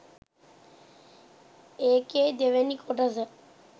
ඒකෙ දෙවෙනි කොටස